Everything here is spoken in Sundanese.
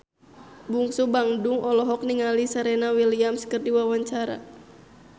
Bungsu Bandung olohok ningali Serena Williams keur diwawancara